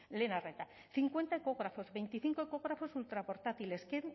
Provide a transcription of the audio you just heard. lehen arreta cincuenta ecógrafos veinticinco ecógrafos ultraportátiles